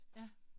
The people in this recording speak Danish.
Ja